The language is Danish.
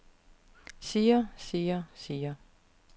siger siger siger